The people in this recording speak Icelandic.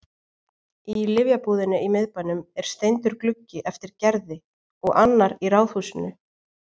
Í lyfjabúðinni í miðbænum er steindur gluggi eftir Gerði og annar í ráðhúsinu.